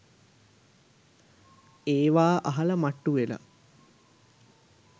එවා අහල මට්ටු ‍වෙලා